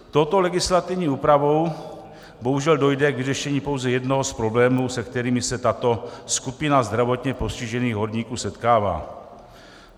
Touto legislativní úpravou bohužel dojde k vyřešení pouze jednoho z problémů, se kterými se tato skupina zdravotně postižených horníků setkává.